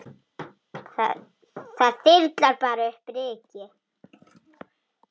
Það þyrlar bara upp ryki.